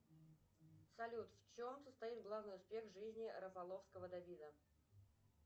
салют в чем состоит главный успех жизни рафаловского давида